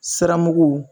Siramugu